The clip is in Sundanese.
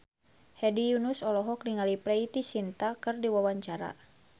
Hedi Yunus olohok ningali Preity Zinta keur diwawancara